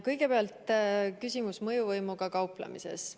Kõigepealt, küsimus mõjuvõimuga kauplemise kohta.